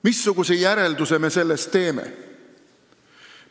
Missuguse järelduse me sellest teeme?